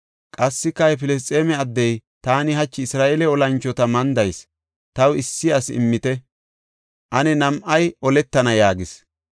Qassika he Filisxeeme addey, “Taani hachi Isra7eele olanchota mandayis; taw issi asi immite; ane nam7ay oletana” yaagis.